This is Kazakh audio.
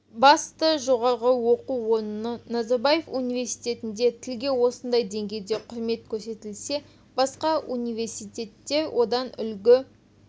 басты жоғары оқу орны назарбаев университетінде тілге осындай деңгейде құрмет көрсетілсе басқа университеттер одан үлгі